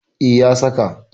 E, ya saka.